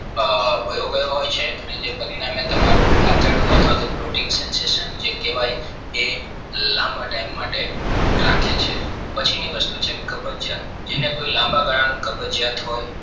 વયોવય હોય છે અને જે પરિણામે તમારું આંતરડું અથવા તો પ્રોટીન સંશ્લેષણ કહેવાય એ લાંબા time માટે રાખે છે પછી ની વસ્તુ છે કબજિયાત જેને કોઈ લાંબા ગાળામાં કબજિયાત હોય